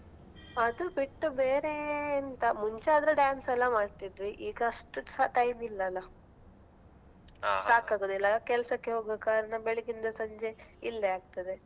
ಅದು ಬಿಟ್ಟು ಬೇರೇ ಎಂತ ಮುಂಚೆ ಆದ್ರೆ dance ಎಲ್ಲ ಮಾಡ್ತಿದ್ವಿ ಈಗ ಅಷ್ಟು ಸಹ time ಇಲ್ಲ ಅಲಾ. ಅಲಾ ಕೆಲ್ಸಕ್ಕೆ ಹೋಗುವ ಕಾರಣ ಬೆಳಿಗ್ಗಿಂದ ಸಂಜೆ ಇಲ್ಲೇ ಆಗ್ತದೆ.